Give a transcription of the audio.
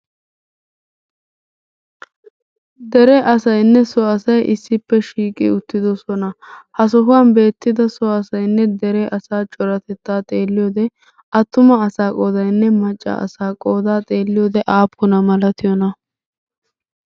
Dere asayinne so asay issippe shiiqi uttiidosona. Ha sohuwan beettida so asayinne dere asaa coratettaa xeelliyode attuma asaa qoodayin e macca asaaqoodaa xeelliyode aappuna malatiyona?